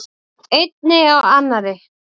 Einni af annarri.